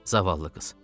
Zavallı qız.